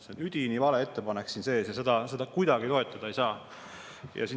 See on üdini vale ettepanek siin sees ja seda kuidagi toetada ei saa.